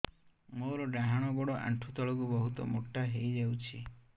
ମୋର ଡାହାଣ ଗୋଡ଼ ଆଣ୍ଠୁ ତଳକୁ ବହୁତ ମୋଟା ହେଇଯାଉଛି